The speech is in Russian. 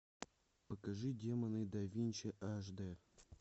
покажи демоны да винчи аш дэ